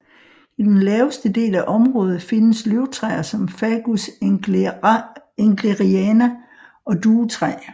I den laveste del af området findes løvtræer som Fagus engleriana og Duetræ